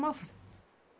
áfram